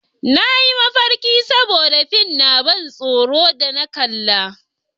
Na yi mafarki saboda fin na ban tsoro da na kalla